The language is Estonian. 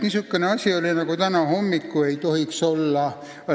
Niisugust asja, nagu täna hommikul oli, ei tohiks olla.